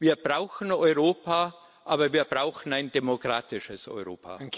Wir brauchen Europa, aber wir brauchen ein demokratisches Europa.